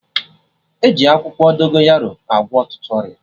E ji akwụkwọ Dogonyaro agwọ ọtụtụ ọrịa